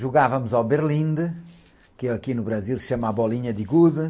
Jogávamos ao berlinde, que aqui no Brasil se chama a bolinha de gude.